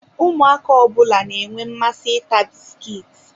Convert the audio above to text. Ụmụaka ọbụla na-enwe mmasị ị ta bisikiiti.